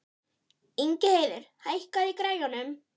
Ingheiður, hækkaðu í græjunum.